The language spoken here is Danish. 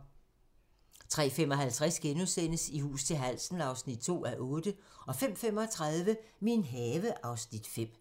03:55: I hus til halsen (2:8)* 05:35: Min have (Afs. 5)